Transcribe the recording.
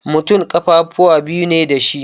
Mutum ƙafafuwa biyu ne dashi